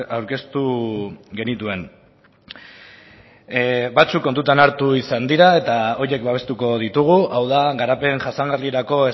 aurkeztu genituen batzuk kontutan hartu izan dira eta horiek babestuko ditugu hau da garapen jasangarrirako